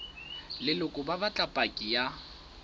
leloko ba batla paki ya